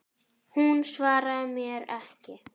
Hún svaraði mér ekki.